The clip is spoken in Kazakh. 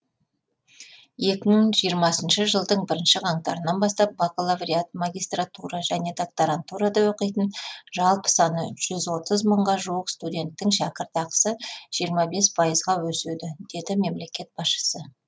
екі мың жиырмасыншы жылдың бірінші қаңтарынан бастап бакалавриат магистратура және докторантурада оқитын жалпы саны жүз отыз мыңға жуық студенттің шәкіртақысы жиырма бес пайызға өседі деді мемлекет басшысы